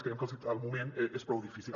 creiem que el moment és prou difícil